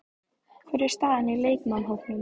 Hver er staðan á leikmannahópnum?